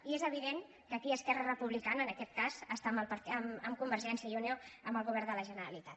i és evident que aquí esquerra republicana en aquest cas està amb convergència i unió amb el govern de la generalitat